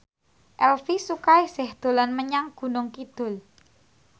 Elvi Sukaesih dolan menyang Gunung Kidul